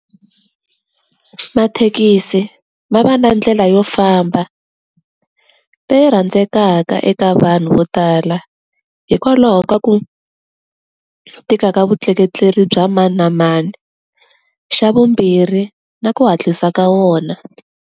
Mathekisi, ma va na ndlela yo famba, leyi rhandzekaka eka vanhu vo tala. Hikwalaho ka ku, tika ka vutleketleri bya mani na mani. Xa vumbirhi, na ku hatlisa ka wona.